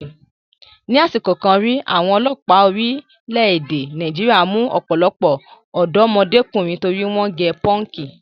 Ni àsìkò kan rí, àwọn ọlọ́pàá orílẹ̀-èdè Nàìjíríà mú ọ̀pọ̀lọpọ̀ ọ̀dọ́mọdékùnrin torí wọ́n gẹ pọ́ǹkì.